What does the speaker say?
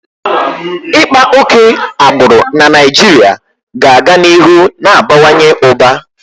Ịkpa oke agbụrụ na Naịjirịa ga-aga n'ihu na-abawanye ụba.